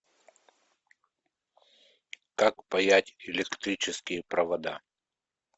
как паять электрические провода